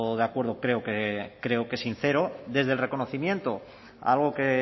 de acuerdo creo que sincero desde el reconocimiento a algo que